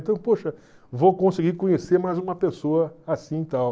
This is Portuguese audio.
Então, poxa, vou conseguir conhecer mais uma pessoa assim e tal.